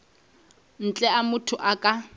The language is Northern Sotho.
ntle a motho a ka